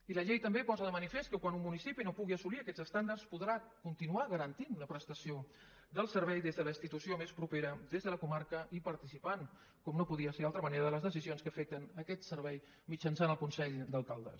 i la llei també posa de manifest que quan un municipi no pugui assolir aquests estàndards podrà continuar garantint la prestació del servei des de la institució més propera des de la comarca i participant com no podria ser d’altra manera de les decisions que afecten aquest servei mitjançant el consell d’alcaldes